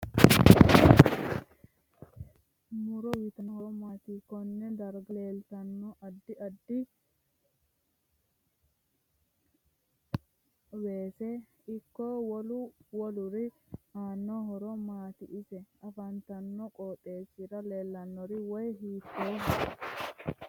Muro uyiitanno horo maati konne darga leeltanno addi adfi weese ikko wolu woluri aano horo maati ise afantanno qooxeesira leelanno wayi hiitooho